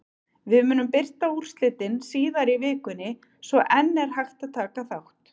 Við munum birta úrslitin síðar í vikunni svo enn er hægt að taka þátt!